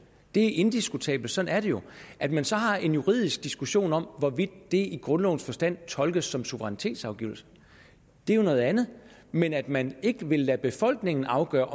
det er indiskutabelt sådan er det jo at man så har en juridisk diskussion om hvorvidt det i grundlovens forstand tolkes som suverænitetsafgivelse er jo noget andet men at man ikke vil lade befolkningen afgøre